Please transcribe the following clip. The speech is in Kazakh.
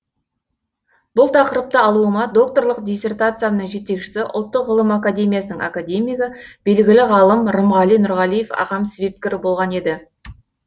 бұл тақырыпты алуыма докторлық диссертациямның жетекшісі ұлттық ғылым академиясының академигі белгілі ғалым рымғали нұрғалиев ағам себепкер болған еді